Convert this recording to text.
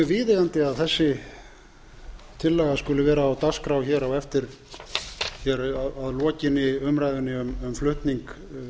viðeigandi að þessi tillaga skuli vera á dagskrá að lokinni umræðunni um flutning